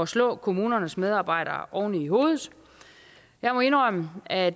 slå kommunernes medarbejdere oven i hovedet jeg må indrømme at